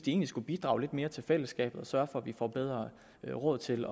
egentlig skulle bidrage mere til fællesskabet og sørge for at vi får bedre råd til